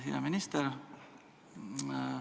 Hea minister!